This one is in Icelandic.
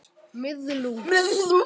Þeir sleppa ekki neitt.